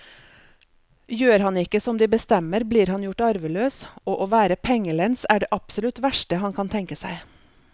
Gjør han ikke som de bestemmer, blir han gjort arveløs, og å være pengelens er det absolutt verste han kan tenke seg.